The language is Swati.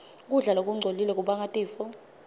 kudla lokungcolile kubanga tifo